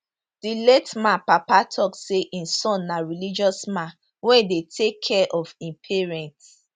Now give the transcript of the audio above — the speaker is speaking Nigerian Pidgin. di late man papa tok say im son na religious man wey dey take care of im parents